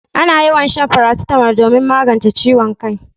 Ana yawan shan farasitamol domin magance ciwon kai.